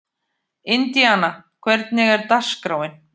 Indíana, hvernig er dagskráin?